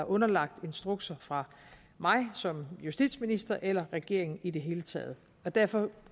underlagt instrukser fra mig som justitsminister eller regeringen i det hele taget derfor